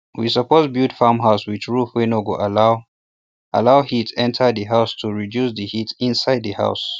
we suppose build farm house with roof wey no go allow allow heat enta the house to reduce the heat inside the house